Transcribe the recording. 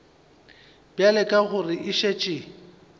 bjale ka gore e šetše